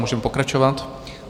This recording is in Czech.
Můžeme pokračovat.